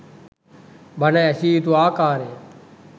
බණ ඇසිය යුතු ආකාරය